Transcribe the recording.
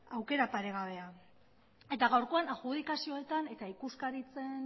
aukera paregabea eta gaurkoan adjudikazioetan eta ikuskaritzen